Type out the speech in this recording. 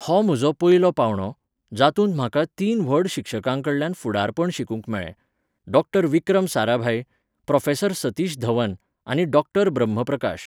हो म्हजो पयलो पांवडो, जातूंत म्हाका तीन व्हड शिक्षकां कडल्यान फुडारपण शिकूंक मेळ्ळें डॉ विक्रम साराभाई, प्रो सतीश धवन आनी डॉ ब्रह्म प्रकाश.